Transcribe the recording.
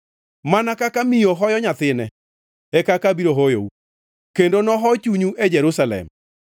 Mana kaka miyo hoyo nyathine, e kaka abiro hoyou; kendo noho chunyu e Jerusalem.”